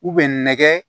U bɛ nɛgɛ